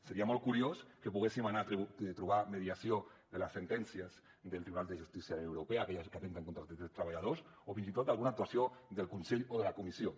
seria molt curiós que poguéssim anar a trobar mediació de les sentències del tribunal de justícia de la unió europea aquelles que atempten contra els drets dels treballadors o fins i tot d’alguna actuació del consell o de la comissió